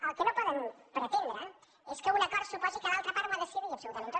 el que no poden pretendre és que un acord suposi que l’altra part ho ha de cedir absolutament tot